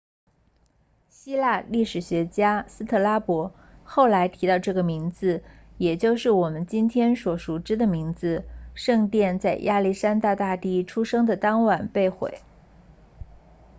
希腊历史学家斯特拉博 strabo 后来提到了这个名字也就是我们今天所熟知的名字圣殿在亚历山大大帝出生的当晚被毁